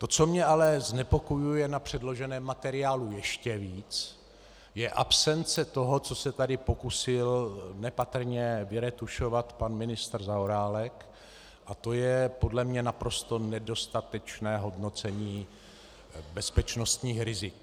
To, co mě ale znepokojuje na předloženém materiálu ještě víc, je absence toho, co se tady pokusil nepatrně vyretušovat pan ministr Zaorálek, a to je podle mě naprosto nedostatečné hodnocení bezpečnostních rizik.